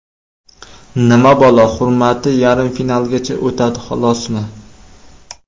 Nima balo, hurmati yarim finalgacha o‘tadi, xolosmi?